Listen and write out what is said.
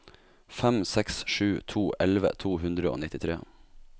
fem seks sju to elleve to hundre og nittitre